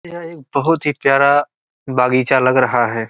ये एक बहुत ही प्यारा बगीचा लग रहा है।